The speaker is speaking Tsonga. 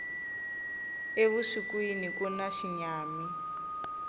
evusikwini kuna xinyami